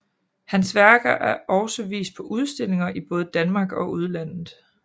Hans værker er også vist på udstillinger i både Danmark og udlandet